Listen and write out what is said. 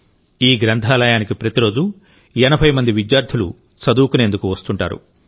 ఈ గ్రంథాలయానికి ప్రతిరోజు 80 మంది విద్యార్థులు చదువుకునేందుకు వస్తుంటారు